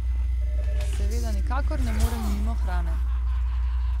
Seveda nikakor ne morem mimo hrane ...